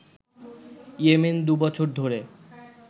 Yemen দুবছর ধরে